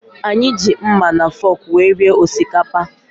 Anyị ji mma na fọọkụ wee rie osikapa.